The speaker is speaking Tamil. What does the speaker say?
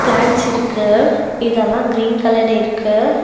பிளாண்ட்ஸ் இருக்கு இதெல்லா கிரீன் கலர்ல இருக்கு.